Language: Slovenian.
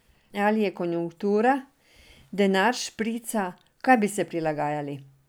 Ali je konjunktura, denar šprica, kaj bi se prilagajali?